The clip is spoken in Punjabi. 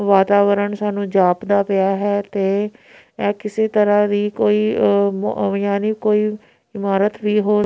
ਵਾਤਾਵਰਣ ਸਾਨੂੰ ਜਾਪਦਾ ਪਿਆ ਹੈ ਤੇ ਇਹ ਕਿਸੇ ਤਰ੍ਹਾਂ ਵੀ ਕੋਈ ਆ ਯਾਨੀ ਕੋਈ ਇਮਾਰਤ ਵੀ ਹੋ--